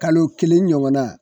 Kalo kelen ɲɔgɔn na